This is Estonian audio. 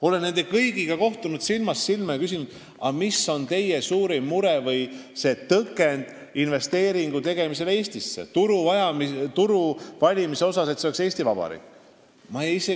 Olen nende kõigiga silmast silma kohtunud ja küsinud, mis on teie suurim mure või tõke meie turu valimisel, Eesti Vabariiki investeeringute tegemisel.